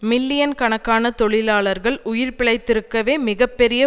million கணக்கான தொழிலாளர்கள் உயிர் பிழைத்திருக்கவே மிக பெரிய